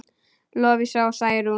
Lovísa og Særún.